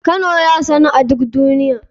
Kano ya sanu a duk duniya.